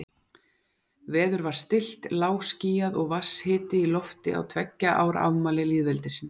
Veður var stillt, lágskýjað og vatnshiti í lofti á tveggja ára afmæli lýðveldisins.